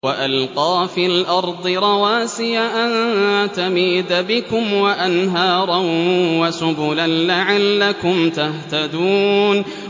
وَأَلْقَىٰ فِي الْأَرْضِ رَوَاسِيَ أَن تَمِيدَ بِكُمْ وَأَنْهَارًا وَسُبُلًا لَّعَلَّكُمْ تَهْتَدُونَ